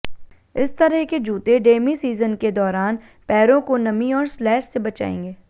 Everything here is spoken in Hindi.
इस तरह के जूते डेमी सीजन के दौरान पैरों को नमी और स्लैश से बचाएंगे